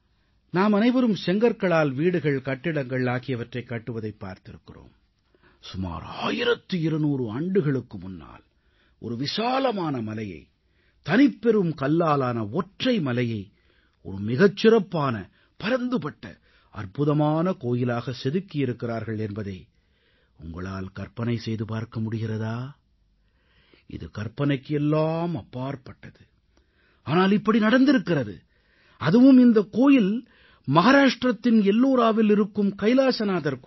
நாமனைவரும் செங்கற்களால் வீடுகள் கட்டிடங்கள் ஆகியவற்றைக் கட்டுவதைப் பார்த்திருக்கிறோம் ஆனால் சுமார் 1200 ஆண்டுகளுக்கு முன்னால் ஒரு விசாலமான மலையை தனிப்பெரும் கல்லாலான ஒற்றை மலையை ஒரு மிகச் சிறப்பான பரந்துபட்ட அற்புதமான கோயிலாக செதுக்கியிருக்கிறார்கள் என்பதை உங்களால் கற்பனை செய்து பார்க்க முடிகிறதா இது கற்பனைக்கு எல்லாம் அப்பாற்பட்டது ஆனால் இப்படி நடந்திருக்கிறது அதுவும் இந்தக் கோயில் மகாராஷ்டிரத்தின் எல்லோராவில் இருக்கும் கைலாசநாதர் கோயில்